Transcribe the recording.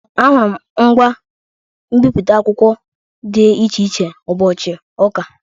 Ahụrụ m ngwa mbipụta akwụkwọ dị iche iche ụbọchị ụka.